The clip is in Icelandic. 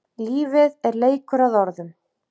Lífið er leikur að orðum.